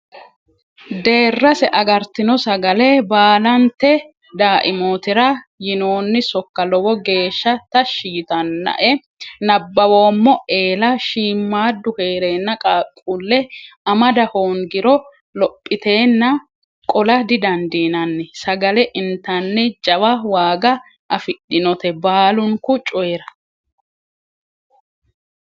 Deerase agartino sagale baallante daimotira yinonni sokka lowo geeshsha tashi yittanae nabbawoommo eella shiimadu heerenna qaaqqule amada hoongiro lophitenna qola didandiinanni sagale intaniti jawa waaga afidhinote baalunku coyira.